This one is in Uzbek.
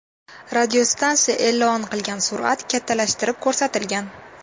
Radiostansiya e’lon qilgan surat kattalashtirib ko‘rsatilgan.